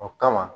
O kama